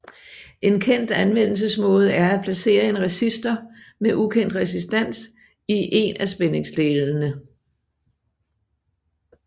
En kendt anvendelsesmåde er at placere en resistor med ukendt resistans i én af spændingsdelerne